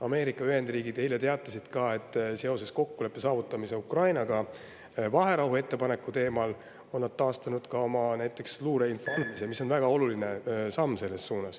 Ameerika Ühendriigid eile teatasid, et seoses kokkuleppe saavutamisega Ukrainaga vaherahuettepaneku teemal on nad taastanud näiteks oma luureinfo andmise, mis on väga oluline samm.